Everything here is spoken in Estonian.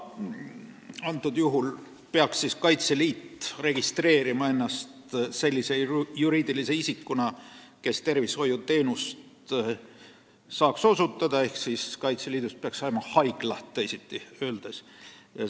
Kaitseliit peaks ennast registreerima sellise juriidilise isikuna, kes võib tervishoiuteenust osutada, ehk siis Kaitseliidust peaks nagu saama haigla.